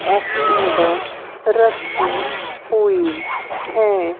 Activa रखी हुई है।